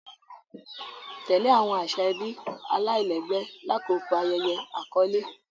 Tẹle awọn aṣa ẹbi alailẹgbẹ lakoko ayẹyẹ akọle.